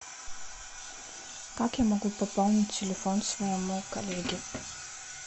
как я могу пополнить телефон своему коллеге